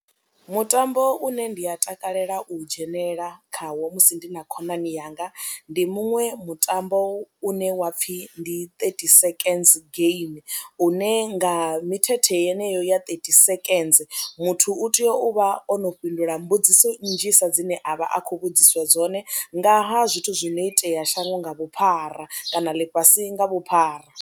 Mutambo une ndi a takalela u dzhenelela khawo musi ndi na khonani yanga ndi muṅwe mutambo une wa pfhi ndi thirty seconds game une nga mithethe yeneyo ya thirty seconds muthu u tea u vha o no fhindula mbudziso nnzhisa dzine a vha a khou vhudziswa dzone nga ha zwithu zwo no itea shangoni nga vhuphara kana ḽifhasi nga vhuphara.